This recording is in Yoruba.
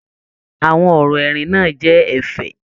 Àwọn ọrọ ẹrin náà jẹ ẹ̀fẹ̀.